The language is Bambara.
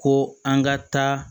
Ko an ka taa